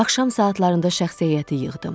Axşam saatlarında şəxsi heyəti yığdım.